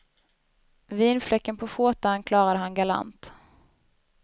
Vinfläcken på skjortan klarade han galant.